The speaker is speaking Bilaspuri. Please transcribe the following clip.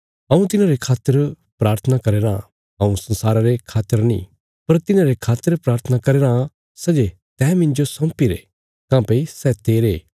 हऊँ तिन्हांरे खातर प्राथना करया राँ हऊँ संसारा रे खातर नीं पर तिन्हांरे खातर प्राथना करया राँ सै जे तैं मिन्जो सौंपीरे काँह्भई सै तेरे